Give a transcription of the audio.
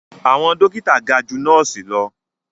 Àwọn dókítà ga ju nọ́ọ̀sì lọ